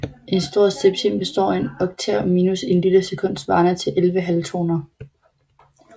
En stor septim består af en oktav minus en lille sekund svarende til 11 halvtoner